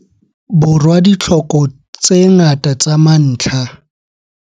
Borwa ditlhoko tse ngata tsa mantlha.